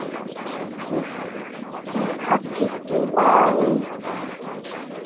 ইস কি ভাই